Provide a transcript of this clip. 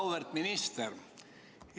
Auväärt minister!